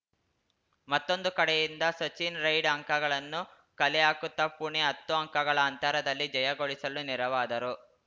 ಮತ್ತೊಂದು ಕಡೆಯಿಂದ ಸಚಿನ್‌ ರೈಡ್‌ ಅಂಕಗಳನ್ನು ಕಲೆಹಾಕುತ್ತಾ ಪುಣೆ ಹತ್ತು ಅಂಕಗಳ ಅಂತರದಲ್ಲಿ ಜಯಗಳಿಸಲು ನೆರವಾದರು